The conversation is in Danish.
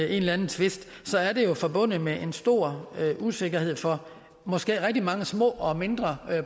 eller anden tvist er det jo forbundet med en stor usikkerhed for måske rigtig mange små og mindre